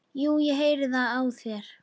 Jú, ég heyri það á þér.